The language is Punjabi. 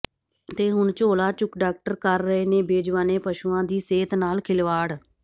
ਤੇ ਹੁਣ ਝੋਲਾ ਚੁੱਕ ਡਾਕਟਰ ਕਰ ਰਹੇ ਨੇ ਬੇਜ਼ੁਬਾਨੇ ਪਸ਼ੂਆਂ ਦੀ ਸਿਹਤ ਨਾਲ ਖਿਲਵਾੜ